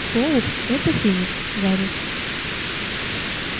фоукс это феникс гарри